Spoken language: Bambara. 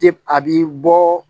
a b'i bɔ